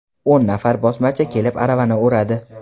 O‘n nafar bosmachi kelib aravani o‘radi.